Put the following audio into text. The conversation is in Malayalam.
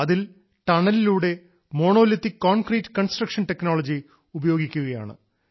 അതിൽ ടണലിലൂടെ മോണോലിത്തിക് കോൺക്രീറ്റ് കൺസ്ട്രക്ഷൻ ടെക്നോളജി ഉപയോഗിക്കുകയാണ്